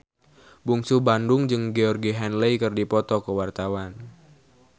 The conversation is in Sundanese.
Bungsu Bandung jeung Georgie Henley keur dipoto ku wartawan